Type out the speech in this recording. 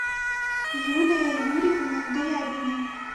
юлия юрьевна дрябина